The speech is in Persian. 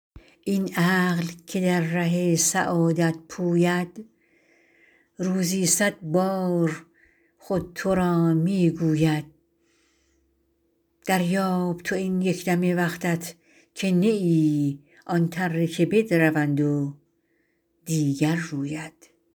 این عقل که در ره سعادت پوید روزی صد بار خود تو را می گوید دریاب تو این یک دم وقتت که نه ای آن تره که بدروند و دیگر روید